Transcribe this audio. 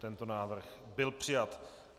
Tento návrh byl přijat.